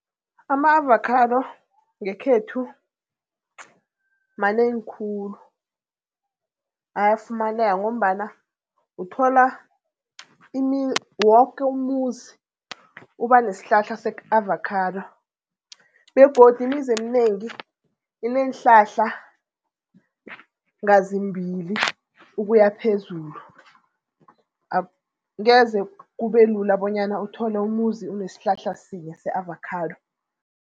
Ama-avocado ngekhethu manengi khulu ayafumaneka ngombana uthola woke umuzi uba nesihlahla se-avocado begodu imizi eminengi ineenhlahla ngazimbili ukuya phezulu. Ngeze kube lula bonyana uthole umuzi unesihlahla sinye se-avocado.